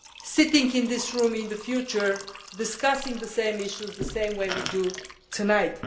be sitting in this room in the future discussing the same issues the same way we are doing tonight.